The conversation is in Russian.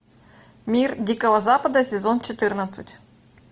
мир дикого запада сезон четырнадцать